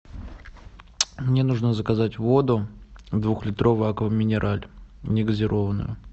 мне нужно заказать воду двухлитровую аква минерале негазированную